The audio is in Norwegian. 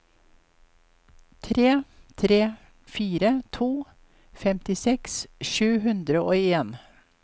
tre tre fire to femtiseks sju hundre og en